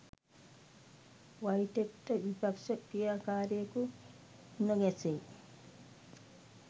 වයිටෙක්ට විපක්ෂ ක්‍රියාකාරියකු මුණ ගැසෙයි